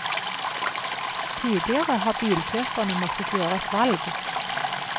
Tidligere har bilkjøperne måttet gjøre et valg.